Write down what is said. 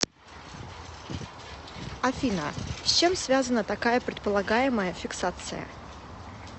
афина с чем связана такая предполагаемая фиксация